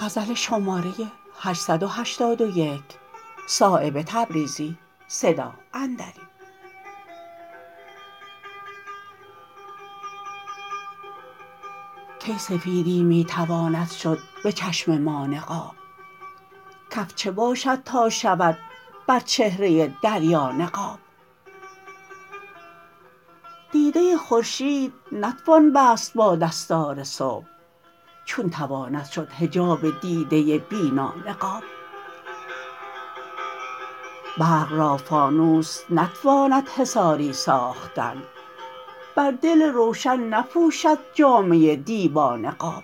کی سفیدی می تواند شد به چشم ما نقاب کف چه باشد تا شود بر چهره دریا نقاب دیده خورشید نتوان بست با دستار صبح چون تواند شد حجاب دیده بینا نقاب برق را فانوس نتواند حصاری ساختن بر دل روشن نپوشد جامه دیبا نقاب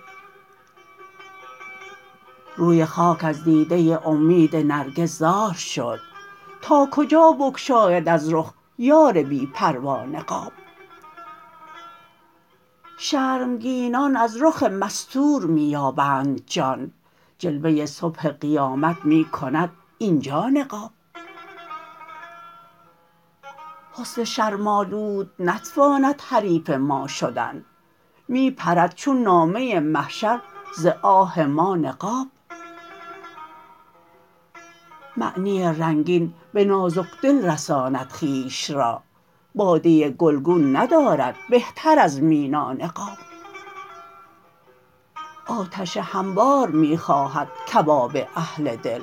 روی خاک از دیده امید نرگس زار شد تا کجا بگشاید از رخ یار بی پروا نقاب شرمگینان از رخ مستور می یابند جان جلوه صبح قیامت می کند اینجا نقاب حسن شرم آلود نتواند حریف ما شدن می پرد چون نامه محشر ز آه ما نقاب معنی رنگین به نازکدل رساند خویش را باده گلگون ندارد بهتر از مینا نقاب آتش هموار می خواهد کباب اهل دل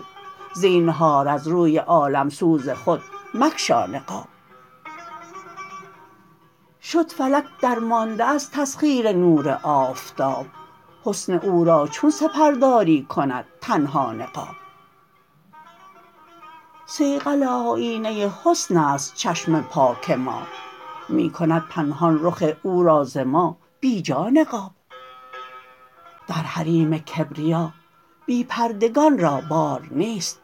زینهار از روی عالمسوز خود مگشا نقاب شد فلک درمانده از تسخیر نور آفتاب حسن او را چون سپرداری کند تنها نقاب صیقل آیینه حسن است چشم پاک ما می کند پنهان رخ او را ز ما بیجا نقاب در حریم کبریا بی پردگان را بار نیست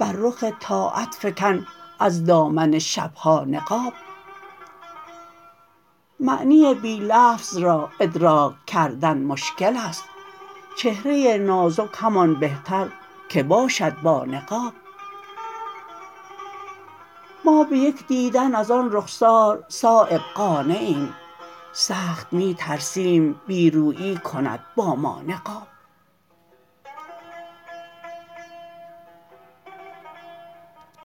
بر رخ طاعت فکن از دامن شبها نقاب معنی بی لفظ را ادراک کردن مشکل است چهره نازک همان بهتر که باشد با نقاب ما به یک دیدن ازان رخسار صایب قانعیم سخت می ترسیم بی رویی کند با ما نقاب